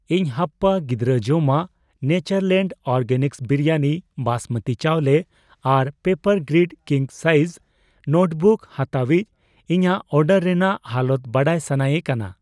ᱤᱧ ᱦᱟᱯᱯᱟ ᱜᱤᱫᱨᱟᱹ ᱡᱚᱢᱟᱜ, ᱱᱮᱪᱟᱨᱞᱮᱱᱰ ᱚᱨᱜᱮᱱᱤᱠᱥ ᱵᱤᱨᱤᱭᱟᱱᱤ ᱵᱟᱸᱥᱢᱚᱛᱤ ᱪᱟᱣᱞᱮ ᱟᱨ ᱯᱮᱯᱟᱨᱜᱨᱤᱰ ᱠᱤᱝ ᱥᱟᱭᱤᱡ ᱱᱳᱴᱵᱩᱠ ᱦᱟᱛᱟᱣᱤᱡᱽ ᱤᱧᱟᱜ ᱚᱰᱟᱨ ᱨᱮᱱᱟᱜ ᱦᱟᱞᱚᱛ ᱵᱟᱰᱟᱭ ᱥᱟᱱᱟᱭᱮ ᱠᱟᱱᱟ ᱾